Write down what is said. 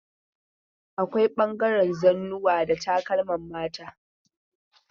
Akwai ɓangaren zannuwa da takalman mata.